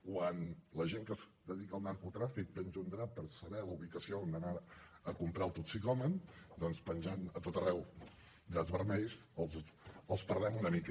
quan la gent que es dedica al narcotràfic penja un drap per saber la ubicació on ha d’anar a comprar el toxicòman doncs penjant a tot arreu draps vermells els perdem una mica